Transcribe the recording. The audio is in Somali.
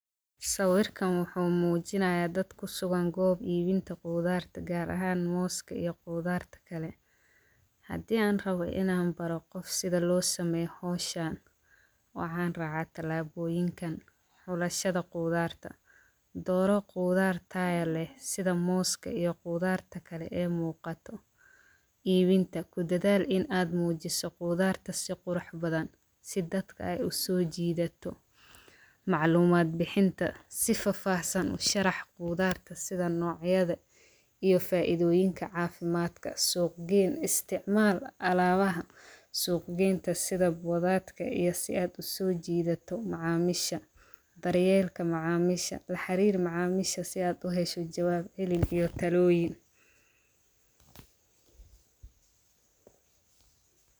sawirkan wuxuu muujinaya dad kusugan goob iibinta qudaarta gaar ahan mooska iyo qudaarta kale hadii aan rabo inaa baro qof howshan sida loosameeyo waxaan raaca talaabooyinkan xulashada qudaarta dooro qudaar tayo leh sida mooska iyo qudaarta kale ee muuqata iibinta ku dadaal in aad muujiso qudaarta si qurux badan si dadka usoo jiidato macluumad bixinta si faafahsan usharax qudaarta sida noocyada iyo faaidooyinka caafimaadka suuq geeyn isticmaal alaabaha suuq geynta boodatka iyo si aa usoo jiidato macamiisha daryeelka macamiisha laxariir macamiisha si aad uhesho jawaab hiilin iyo talooyin